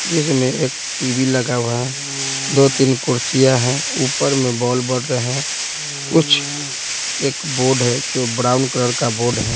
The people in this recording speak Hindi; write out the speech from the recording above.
जिसमें एक टीवी लगा हुआ है दो-तीन कुर्सियां हैं ऊपर में बॉल बन रहे हैं कुछ एक बोर्ड है जो ब्राउन कलर का बोर्ड है।